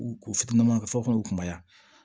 U ka fɔ ka u kumaya